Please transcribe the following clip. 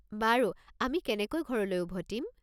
বাৰু, আমি কেনেকৈ ঘৰলৈ উভতিম?